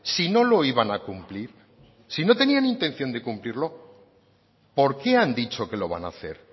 si no lo iban a cumplir si no tenían intención de cumplirlo por qué han dicho que lo van a hacer